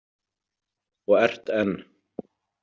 Og ert enn.